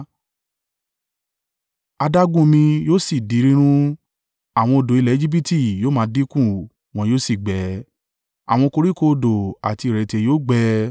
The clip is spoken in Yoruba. Adágún omi yóò sì di rírùn; àwọn odò ilẹ̀ Ejibiti yóò máa dínkù wọn yóò sì gbẹ. Àwọn koríko odò àti ìrẹ̀tẹ̀ yóò gbẹ,